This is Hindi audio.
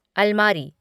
अलमारी